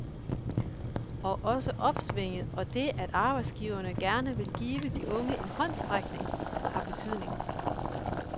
Og også opsvinget og det, at arbejdsgiverne gerne vil give de unge en håndsrækning, har betydning.